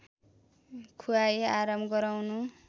खुवाई आराम गराउनु